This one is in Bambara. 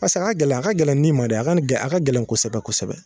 Pase a ka gɛlɛn a ka gɛlɛn ni ma de a kɔni ka gɛlɛn a ka gɛlɛn kosɛbɛ kosɛbɛ